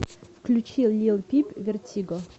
включи лил пип вертиго